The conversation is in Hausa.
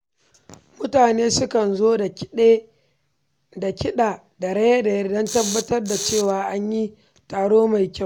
Mutane sukan zo da kiɗa da raye-raye don tabbatar da cewa an yi taro mai kyau.